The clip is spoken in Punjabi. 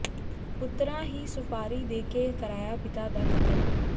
ਪੁੱਤਰਾਂ ਹੀ ਸੁਪਾਰੀ ਦੇ ਕੇ ਕਰਾਇਆ ਪਿਤਾ ਦਾ ਕਤਲ